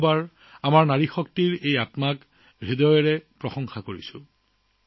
আমাৰ নাৰী শক্তিৰ এই মনোভাৱক মই পুনৰ আন্তৰিকতাৰে শলাগ লৈছো